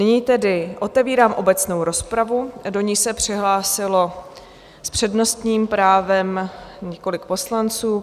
Nyní tedy otevírám obecnou rozpravu, do níž se přihlásilo s přednostním právem několik poslanců.